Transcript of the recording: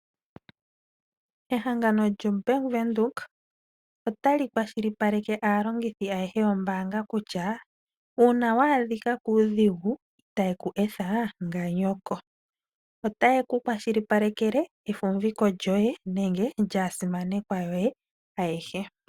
Ehangano lyombaanga yaWindhoek otali kwashilipaleka aalongithi ayehe yombaanga kutya, uuna wa adhika kuudhigu itaye ku etha nganyoko. Otaye kukwashilipaleke efumbiko lyoye nenge lyaasimanekwa yoye ayehe.